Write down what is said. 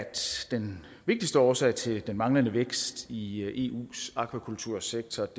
den vigtigste årsag til den manglende vækst i eus aquakultursektor